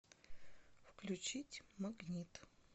включить магнит